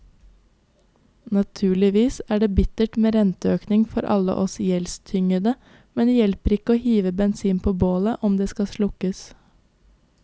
Naturligvis er det bittert med renteøkning for alle oss gjeldstyngede, men det hjelper ikke å hive bensin på bålet om det skal slukkes.